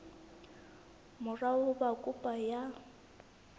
mora ho ba kopo ya